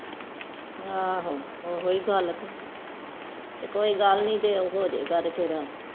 ਆਹੋ ਓਹੋ ਏ ਗੱਲ ਕੇ ਕੋਈ ਗੱਲ ਨੀ ਜੇ ਉਹ ਹੋ ਜੇ ਗਏ ਫੇਰ